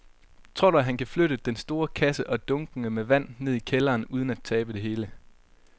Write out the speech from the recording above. Tror du, at han kan flytte den store kasse og dunkene med vand ned i kælderen uden at tabe det hele?